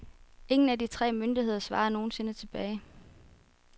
Ingen af de tre myndigheder svarede nogen sinde tilbage.